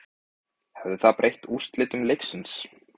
Hefði það breytt úrslitum leiksins?